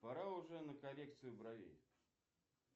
пора уже на коррекцию бровей